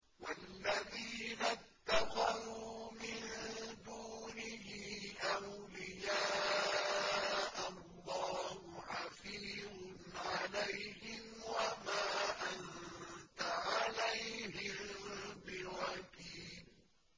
وَالَّذِينَ اتَّخَذُوا مِن دُونِهِ أَوْلِيَاءَ اللَّهُ حَفِيظٌ عَلَيْهِمْ وَمَا أَنتَ عَلَيْهِم بِوَكِيلٍ